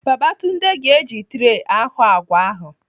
Babatunde ga-eji tree ahọ àgwà ahụ.